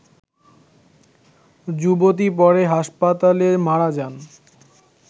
যুবতী পরে হাসপাতালে মারা যান